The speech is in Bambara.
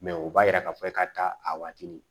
o b'a yira k'a fɔ ka taa a waati ni